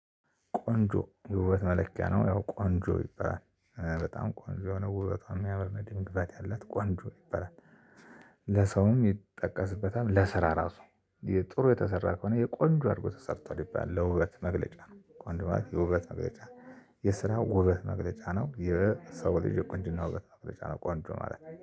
ቆንጆ የውበት መለኪያ ነው ያው ቆንጆ ይበላል በጣም ቆንጆ ነው ውበቷን የሚያመር የደም ግባት ያለት ቆንጆ ይባላል። ለሰውም የሚጠቀስበታል ለስራ ራሱ። ጥሩ የተሰራ ከሆነ የቆንጆ አድርጎ ተሰርቷል ይባላል ለውበት መግለጫ ነው። ቆንጆ ማለት የውበት መግለጫ። የስራው ውበት መግለጫ ነው። የሰው ልጅ ቆንጅና ውበት መግለጫ ነው። ቆንጆ ማለት ነው